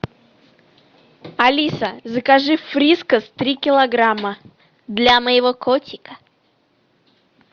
алиса закажи фрискас три килограмма для моего котика